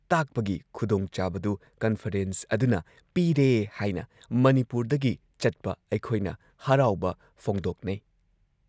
ꯇꯥꯛꯄꯒꯤ ꯈꯨꯗꯣꯡꯆꯥꯕꯗꯨ ꯀꯟꯐꯔꯦꯟꯁ ꯑꯗꯨꯅ ꯄꯤꯔꯦ ꯍꯥꯏꯅ ꯃꯅꯤꯄꯨꯔꯗꯒꯤ ꯆꯠꯄ ꯑꯩꯈꯣꯏꯅ ꯍꯔꯥꯎꯕ ꯐꯣꯡꯗꯣꯛꯅꯩ ꯫